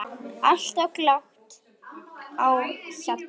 Alltaf glatt á hjalla.